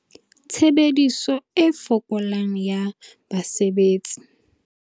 Tshebediso e fokolang ya basebetsi